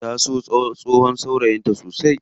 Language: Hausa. Ta so tsohon saurayin ta sosai.